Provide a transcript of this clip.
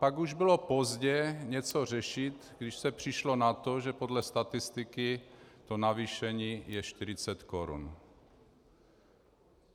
Pak už bylo pozdě něco řešit, když se přišlo na to, že podle statistiky to navýšení je 40 korun.